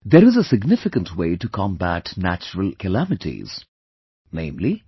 There is a significant way to combat natural calamities viz